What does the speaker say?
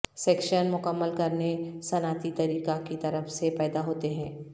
section مکمل کرنے صنعتی طریقہ کی طرف سے پیدا ہوتے ہیں